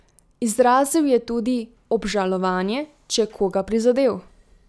Izrazil je tudi obžalovanje, če je koga prizadel.